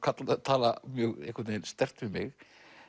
tala mjög einhvern veginn sterkt við mig